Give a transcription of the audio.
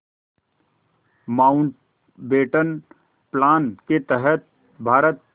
Mountbatten plan के तहत भारत